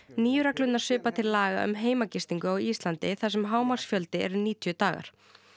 nýju reglurnar svipa til laga um heimagistingu á Íslandi þar sem hámarksfjöldi er níutíu dagar